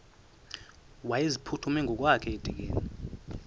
wayeziphuthume ngokwakhe edikeni